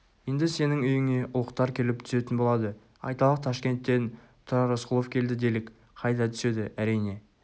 енді сенің үйіне ұлықтар келіп түсетін болады айталық ташкенттен тұрар рысқұлов келді делік қайда түседі әрине